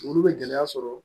Olu bɛ gɛlɛya sɔrɔ